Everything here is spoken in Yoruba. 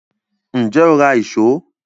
Ǹjẹ́ o ra ìṣó